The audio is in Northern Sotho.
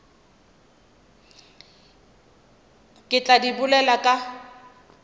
re tla di bolela ka